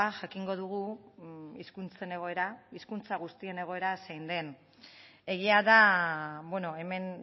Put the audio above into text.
jakingo dugu hizkuntzen egoera hizkuntza guztien egoera zein den egia da hemen